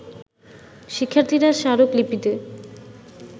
শিক্ষার্থীরা স্মারক লিপিতে